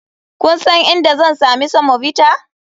Kun san inda zan sami semovita?